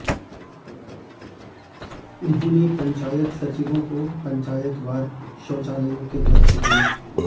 उन्होंने पंचायत सचिवों को पंचायतवार शौचालयों के लक्ष्य दियें